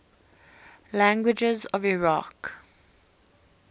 languages of iraq